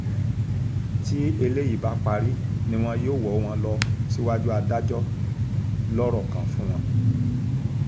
tí eléyìí bá parí ni wọn yóò wọ́ wọn lọ síwájú adájọ́ lọ̀rọ̀ kan fún wọn